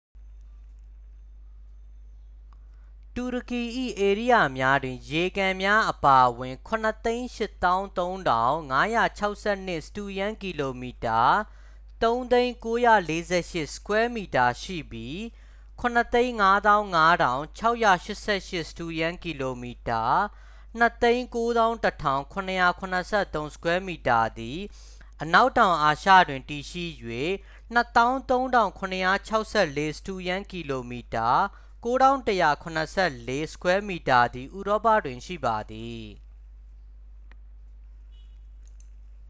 တူရကီ၏ဧရိယာများတွင် ရေကန်များအပါအဝင် ၇၈၃,၅၆၂ စတုရန်းကီလိုမီတာ ၃၀၀,၉၄၈ sq mi ရှိပြီး ၇၅၅,၆၈၈ စတုရန်းကီလိုမီတာ ၂၉၁,၇၇၃ sq mi သည် အနောက်တောင်အာရှတွင် တည်ရှိ၍ ၂၃,၇၆၄ စတုရန်းကီလိုမီတာ ၉,၁၇၄ sq mi သည် ဥရောပတွင်ရှိပါသည်။